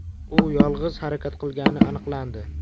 U yolg‘iz harakat qilgani aniqlandi.